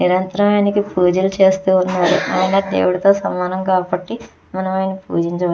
నిరంతరమైన పూజలు చేస్తూ ఉంటారు. ఆయన దేవుడితో సమానం కాబట్టి మనం ఆయన్ని పూజించాలి.